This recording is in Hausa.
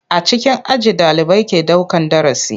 A cikin aji ɗalibai ke daukan darasi.